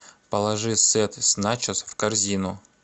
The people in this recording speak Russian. положи сет с начос в корзину